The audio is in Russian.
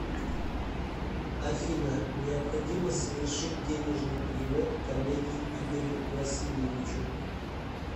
афина необходимо совершить денежный перевод коллеге игорю васильевичу